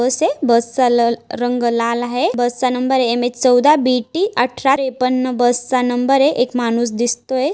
बसय बसचा ल रंग लाल आहे. बस चा नंबर एम_एच चौदा बी_टी अठरा त्रेपन्न बसचा नंबरय एक माणूस दिसतोय.